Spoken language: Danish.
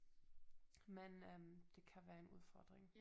Men øh det kan være en udfordring